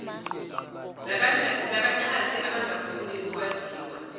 labaxhasi abangafuni ukwaziwa